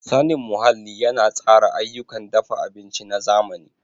Sanin muhalli yana tsara ayyukan dafa abinci na zamani.